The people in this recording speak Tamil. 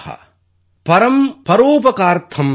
பரம் பரோபகாரார்த்தம் யோ ஜீவதீ ஸ ஜீவதி